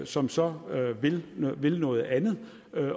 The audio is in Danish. som så vil noget andet